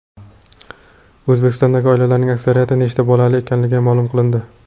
O‘zbekistondagi oilalarning aksariyati nechta bolali ekanligi ma’lum qilindi.